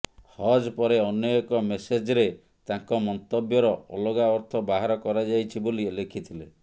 ହଜ୍ ପରେ ଅନ୍ୟ ଏକ ମେସେଜ୍ରେ ତାଙ୍କ ମନ୍ତବ୍ୟର ଅଲଗା ଅର୍ଥ ବାହାର କରାଯାଇଛି ବୋଲି ଲେଖିଥିଲେ